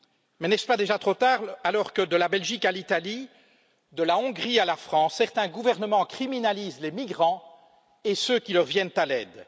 Mais, n'est ce pas déjà trop tard alors que, de la Belgique à l'Italie, de la Hongrie à la France, certains gouvernements criminalisent les migrants et ceux qui leur viennent en aide?